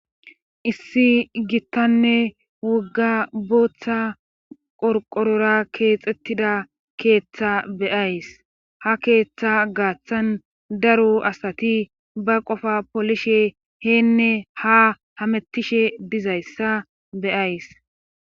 Issi gittanne wugga booththa qorqorora keexettida keeththa beyays ha keeththa gaaththan daru asati ba qofa polishe heenne ha hamettishe dizayssa beyays.